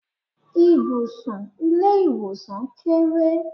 Ibùsùn ilé ìwòsàn kéré.